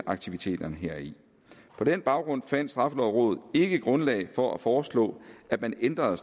aktiviteterne heri på den baggrund fandt straffelovrådet ikke grundlag for at foreslå at man ændrede